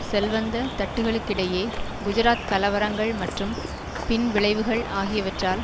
செல்வந்த தட்டுகளுக்கிடையே குஜராத் கலவரங்கள் மற்றும் பின் விளைவுகள் ஆகியவற்றால்